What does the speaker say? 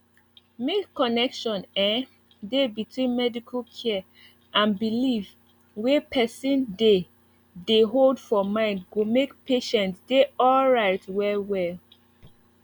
make connection ehh dey between medical care and belief wey person dey dey hold for mind go make patient dey alright well well